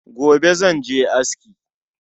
Gobe zan je aski